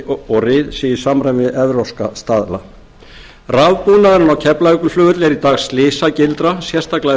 og ryð sé í samræmi við evrópska staðla rafbúnaðurinn á keflavíkurflugvelli er í dag slysagildra sérstaklega